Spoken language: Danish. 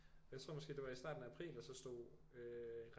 Jeg tror måske det var i starten af april der så stod øh